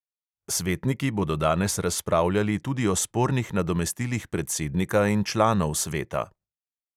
Svetniki bodo danes razpravljali tudi o spornih nadomestilih predsednika in članov sveta.